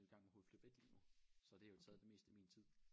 I gang med hovedforløb 1 lige nu så det har jo taget det meste af min tid